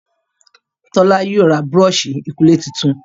Tola yóò rá Búrọ̀ọ̀ṣì ìkunlé títún.